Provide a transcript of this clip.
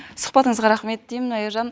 сұхбатыңызға рахмет деймін аяжан